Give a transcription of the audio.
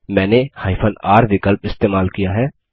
मैंने r विकल्प इस्तेमाल किया है